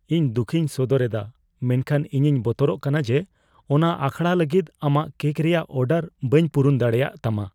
ᱤᱧ ᱫᱩᱠᱷᱤᱧ ᱥᱚᱫᱚᱨ ᱮᱫᱟ, ᱢᱮᱱᱠᱷᱟᱱ ᱤᱧᱤᱧ ᱵᱚᱛᱚᱨᱚᱜ ᱠᱟᱱᱟ ᱡᱮ ᱚᱱᱟ ᱟᱠᱷᱲᱟ ᱞᱟᱹᱜᱤᱫ ᱟᱢᱟᱜ ᱠᱮᱠ ᱨᱮᱭᱟᱜ ᱚᱰᱟᱨ ᱵᱟᱹᱧ ᱯᱩᱨᱩᱱ ᱫᱟᱲᱮᱭᱟᱜᱼᱛᱟᱢᱟ ᱾